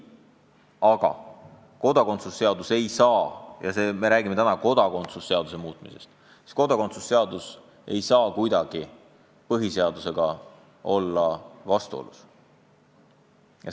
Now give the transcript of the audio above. Samas kodakondsuse seadus ei tohi – me räägime täna ju kodakondsuse seaduse muutmisest – kuidagi põhiseadusega vastuolus olla.